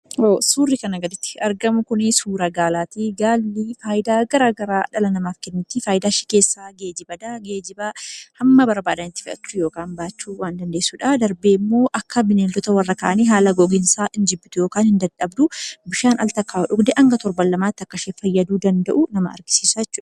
Suurri kanaa gaditti argamu kun suuraa gaalaati. Gaalli kun fayidaa garaagaraa namaaf kenniti. Isaan keessaa geejjiba, ba'aa baachuu waan dandeessu. Akka bineeldota warra kaanii hin dheebottu hin dadhabdu tokkicha yoo dhugde haga torban lamaatti teessi.